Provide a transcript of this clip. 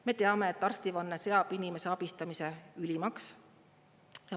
Me teame, et arstivanne seab inimese abistamise ülimaks.